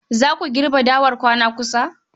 Za ku girbe dawar kwana kusa?